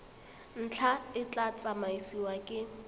ntlha e tla tsamaisiwa ke